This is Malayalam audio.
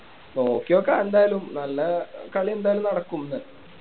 നോക്കിനോക്കാം എന്തായാലും നല്ല കളി എന്തായാലും നടക്കും ഇന്ന്